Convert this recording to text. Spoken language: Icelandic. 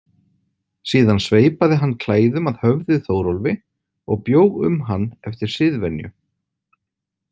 Síðan sveipaði hann klæðum að höfði Þórólfi og bjó um hann eftir siðvenju.